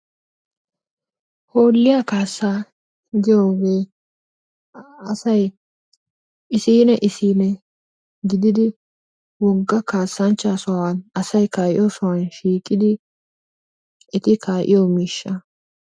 Hooliyaa kaassaa giyogee asay isiinne isiinne gididi wogga kasanchchaa sohuwan asay ka'iyosan shiiqqidi eti kaa'iyo miishshaa.